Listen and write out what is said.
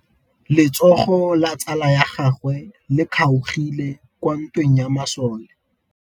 Letsôgô la tsala ya gagwe le kgaogile kwa ntweng ya masole.